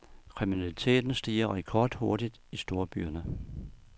Kriminaliteten stiger rekordhurtigt i storbyerne.